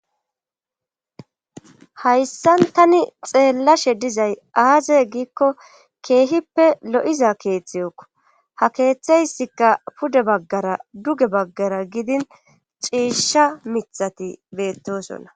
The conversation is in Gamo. Hayssan tani xeellashe dizay aaze giikko keehippe lo'za keeththiyekko ha keeththeyssikka pude baggara duge baggara gidin ciisha mithati beettosonna.